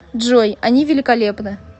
джой они великолепны